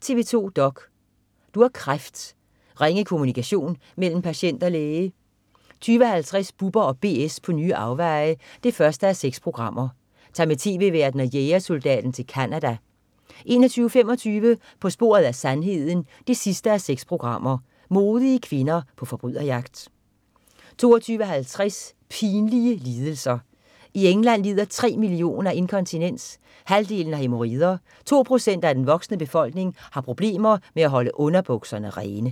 TV 2 dok.: Du har kræft. Ringe kommunikation mellem patient og læge 20.50 Bubber & BS på nye afveje 1:6. Tag med tv-værten og jægersoldaten til Canada 21.25 På sporet af sandheden 6:6. Modige kvinder på forbryderjagt 22.50 Pinlige lidelser. I England lider tre millioner af inkontinens, halvdelen har hæmorider, to procent af den voksne befolkning har problemer med at holde underbukserne rene